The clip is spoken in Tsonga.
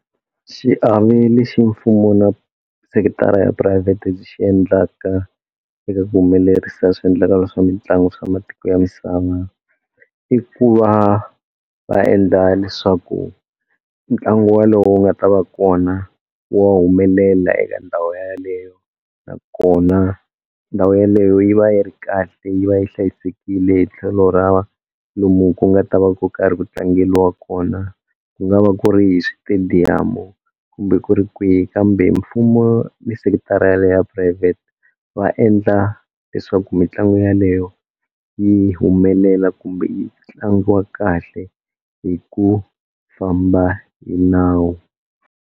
Xiave lexa mfumo na sekithara ya phurayivhete byi xi endlaka eka ku humelerisa swiendlakalo swa mitlangu swa matiko ya misava i ku va va endla leswaku ntlangu walowo wu nga ta va kona wa humelela eka ndhawu yaleyo nakona ndhawu yaleyo yi va yi ri kahle yi va yi hlayisekile hi tlhelo ra lomu ku nga ta va ku karhi ku tlangeliwa kona ku nga va ku ri hi switediyamu kumbe ku ri kwihi kambe mfumo ni sekithara yaliya ya phurayivhete va endla leswaku mitlangu yaleyo yi humelela kumbe yi tlangiwa kahle hi ku famba hi nawu.